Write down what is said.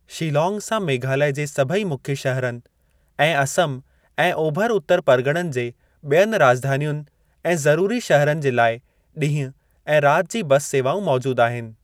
शिल्लांग सां मेघालय जे सभेई मुख्य शहरनि ऐं असम ऐं ओभर उतर परगि॒णनि जे बि॒यनि राज॒धानियुनि ऐं ज़रुरी शहरुनि जे लाइ ॾींहु ऐं राति जी बस सेवाऊं मौजूदु आहिनि।